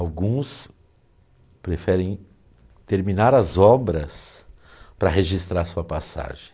Alguns preferem terminar as obras para registrar sua passagem.